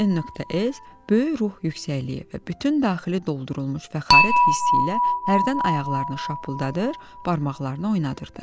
N.S. böyük ruh yüksəkliyi və bütün daxili doldurulmuş fəxarət hissi ilə hərdən ayaqlarını şapıldadır, barmaqlarını oynadırdı.